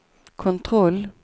kontroll